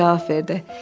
Paqanell cavab verdi.